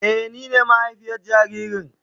Eh, ni ne mahaifiyar jaririn.